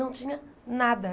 Não tinha nada.